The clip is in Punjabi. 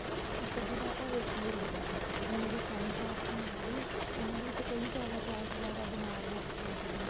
ਇੱਕ ਅੱਧੀ ਵਾਰ ਤਾਂ ਹੋ ਕੇ ਹੀ ਰਹੂਗਾ ਹੁਣ ਮੇਰੇ friends ਆ ਉੱਥੇ ਨਾਲ ਹੀ ਉਹਨਾ ਦੇ ਵਿੱਚੋਂ ਕਈ ਜਿਆਦਾ ਬਹੁਤ ਜਿਆਦਾ ਬੀਮਾਰ ਹੋ ਚੁੱਕੀਆਂ ਕੁੜੀਆਂ